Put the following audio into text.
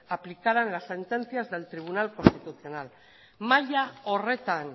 aplicaran las sentencias del tribunal constitucional mahaia horretan